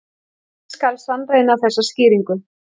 Hvernig skal sannreyna þessa skýringu?